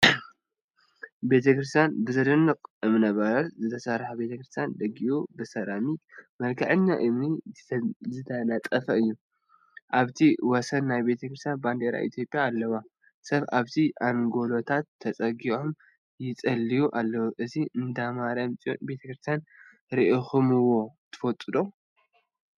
ቤተ ክርስትያን ብዘደንቅ እምነ በረድ ዝተሰርሐ ቤተ ክርስትያን ደጊኡ ብሰራሚክን መልክዐኛ እምኒን ዝተነፀፈ እዩ፡፡ አብቲ ወሰን ናይ ቤተ ክርስትያን ባንዴራ ኢትዮጵያ አለዋ፡፡ ሰብ አብቲ አንጎሎታት ተፀጊዖም ይፅልዩ አለው፡፡ እዚ እንዳማርያም ፅዮን ቤተክርስትያን ሪኢኩምዎ ዶ ትፈልጡ?